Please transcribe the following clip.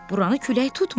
Buranı külək tutmur.